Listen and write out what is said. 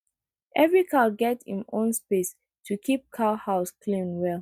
every cow get im own space to keep cow house clean well